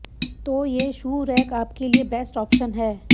तो ये shoe rack आपके लिए बेस्ट ऑप्शन है